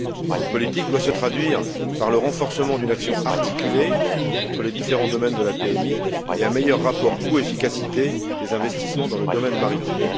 Cette politique doit se traduire par le renforcement d'une action articulée entre les différents domaines de la PMI et un meilleur rapport coût efficacité des investissements dans le domaine maritime.